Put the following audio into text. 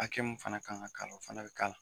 Hakɛ mun fana kan ka k'a la, o fana be k'a la.